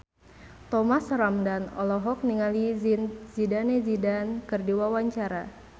Thomas Ramdhan olohok ningali Zidane Zidane keur diwawancara